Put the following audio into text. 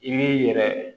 I b'i yɛrɛ